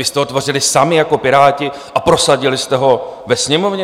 Vy jste ho tvořili sami jako Piráti a prosadili jste ho ve Sněmovně?